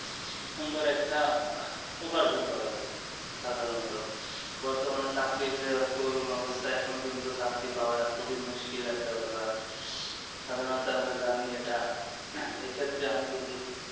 সুন্দর একটা উপার্জন করা যাই সাধারণতো বর্তমানে চাকরি যে করুন অবস্থা এখন কিন্তু চাকরি পাওয়াটা খুবই মুশকিল একটা ব্যাপার সাধারণত আমরা জানি এটা এই ক্ষেত্রে আমি যদি